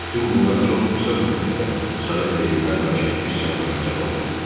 Bütün bunlar çox qısa müddətdə Sovet rejiminə qarşı üsyanlara səbəb oldu.